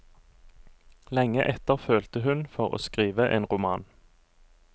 Lenge etter følte hun for å skrive en roman.